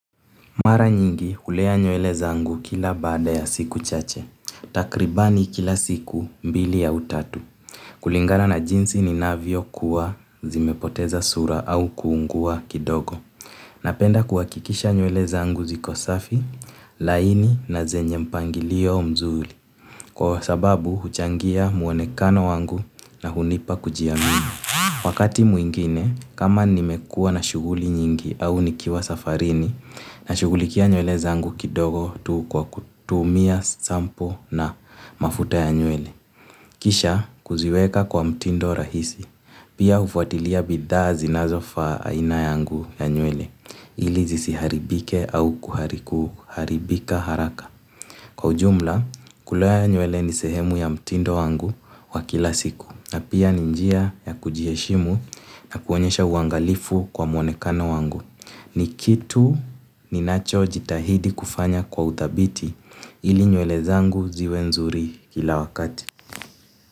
Mara nyingi hulea nywele zangu kila baada ya siku chache. Takribani kila siku mbili au tatu. Kulingana na jinsi ninavyokua, zimepoteza sura au kuungua kidogo. Napenda kuhakikisha nywele zangu ziko safi, laini na zenye mpangilio mzuri. Kwa sababu huchangia mwonekano wangu na hunipa kujiamini. Wakati mwingine, kama nimekuwa na shughuli nyingi au nikiwa safarini, nashughulikia nywele zangu kidogo tu kwa kutumia sampo na mafuta ya nywele. Kisha kuziweka kwa mtindo rahisi pia hufuatilia bidhaa zinazofaa aina yangu ya nywele. Ili zisiharibike au kuharibika haraka. Kwa ujumla, kulea nywele ni sehemu ya mtindo wangu wa kila siku. Na pia ni njia ya kujiheshimu na kuonyesha uangalifu kwa mwonekano wangu. Ni kitu ninachojitahidi kufanya kwa uthabiti ili nywele zangu ziwe nzuri kila wakati.